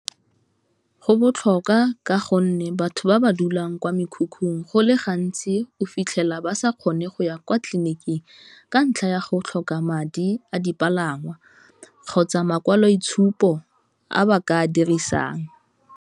Go botlhokwa ka gonne, batho ba ba dulang kwa mekhukhung go le gantsi o fitlhela ba sa kgone go ya kwa tleliniking ka ntlha ya go tlhoka madi a dipalangwa, kgotsa makwalo itshupo a ba ka dirisang.